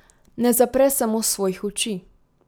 Ne zapre samo svojih oči.